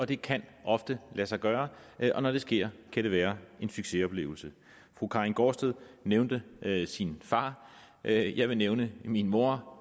det kan ofte lade sig gøre og når det sker kan det være en succesoplevelse fru karin gaardsted nævnte sin far jeg jeg vil nævne min mor